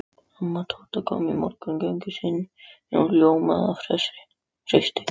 Amma Tóta kom úr morgungöngu sinni og ljómaði af hreysti.